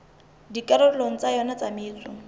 dikarolong tsa yona tsa metso